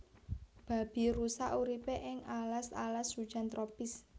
Babirusa uripe ing alas alas hujan tropis